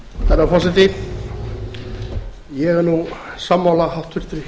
herra forseti ég er nú sammála háttvirtum